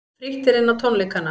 Frítt er inn á tónleikana